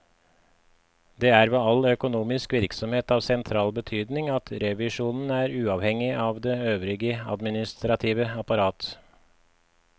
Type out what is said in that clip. Det er ved all økonomisk virksomhet av sentral betydning at revisjonen er uavhengig av det øvrige administrative apparat.